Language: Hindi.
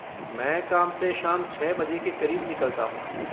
मैं काम से शाम छः बजे के क़रीब निकलता हूँ।